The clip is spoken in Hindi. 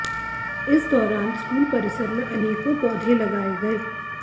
इस दौरान स्कूल परिसर में अनेकों पौधे लगाए गए